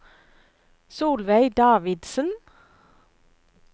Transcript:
Solveig Davidsen